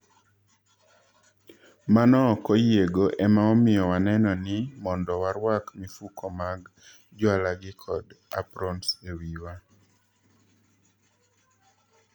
"Mano ok oyiego ema omiyo waneno ni mondo warwak mifuko mag jwalagi kod aprons ewiwa."